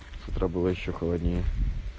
утро было ещё холоднее